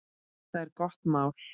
Það er gott mál.